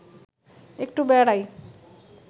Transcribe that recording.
একটু বেড়াই